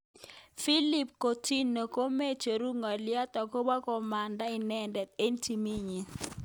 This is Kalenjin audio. Philippe Coutinho komechuru ngalyo akobo komanda inendet eng timit nenyi.